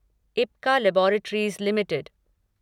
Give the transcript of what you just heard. Ipca laboratories limited